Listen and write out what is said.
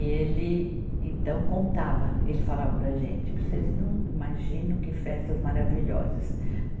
E ele, então, contava, ele falava para a gente, vocês não imaginam que festas maravilhosas.